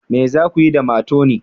Me za ku yi da matoni?